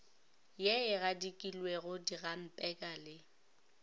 ye e gadikilwego dihampeka le